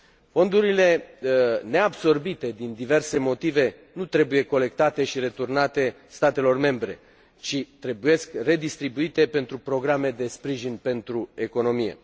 Fondurile neabsorbite din diverse motive nu trebuie colectate și returnate statelor membre, ci redistribuite pentru programe de sprijin pentru economie.